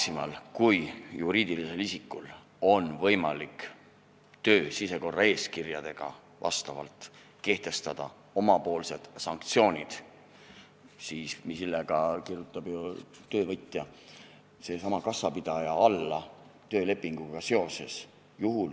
Maximal kui juriidilisel isikul on võimalik töö sisekorraeeskirjaga kehtestada oma sanktsioonid, millele kirjutab ju töövõtja, seesama kassapidaja, alla töölepinguga seoses.